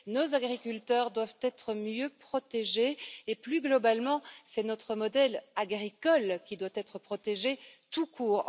Nos agriculteurs doivent être mieux protégés et, plus globalement, c'est notre modèle agricole qui doit être protégé tout court.